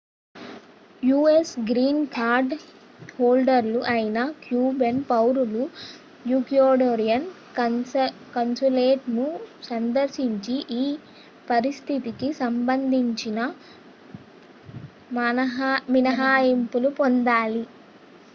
us green card హోల్డర్‌లు అయిన cuban పౌరులు ecuadorian consulateను సందర్శించి ఈ పరిస్థితికి సంబంధించిన మినహాయింపును పొందాలి